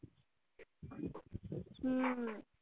हम्म